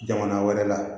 Jamana wɛrɛ la